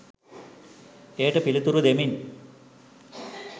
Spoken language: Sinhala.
එයට පිළිතුරු දෙමින්